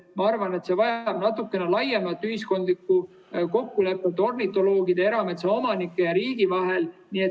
Ma arvan, et see vajab natukene laiemat ühiskondlikku kokkulepet ornitoloogide, erametsaomanike ja riigi vahel.